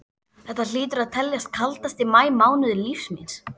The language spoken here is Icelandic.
Þetta hlýtur að teljast kaldasti maí mánuður lífs míns.